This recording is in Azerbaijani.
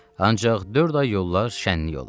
Ancaq dörd ay yollar şənlik olar.